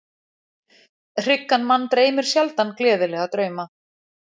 Hryggan mann dreymir sjaldan gleðilega drauma.